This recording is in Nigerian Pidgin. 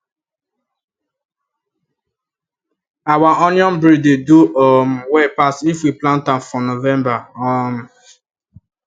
our onion breed dey do um well pass if we plant am for november um